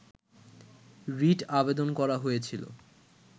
writ আবেদন করা হয়েছিল